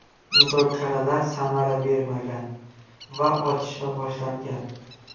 Muzokaralar samara bermagan va otishma boshlangan.